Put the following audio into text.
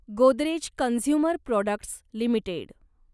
Godrej consumer products limited